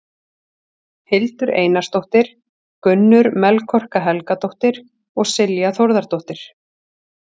Hildur Einarsdóttir, Gunnur Melkorka Helgadóttir og Silja Þórðardóttir.